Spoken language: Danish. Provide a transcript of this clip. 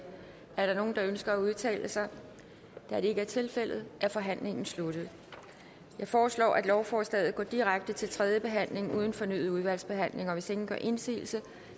er der nogen der ønsker at udtale sig da det ikke er tilfældet er forhandlingen sluttet jeg foreslår at lovforslaget går direkte til tredje behandling uden fornyet udvalgsbehandling hvis ingen gør indsigelse